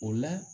O la